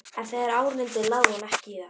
En þegar á reyndi lagði hún ekki í það.